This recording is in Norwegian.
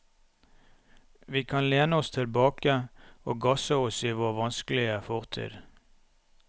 Vi kan lene oss tilbake og gasse oss i vår vanskelige fortid.